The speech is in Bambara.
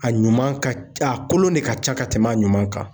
A ɲuman ka a kolon de ka ca ka tɛmɛ a ɲuman kan.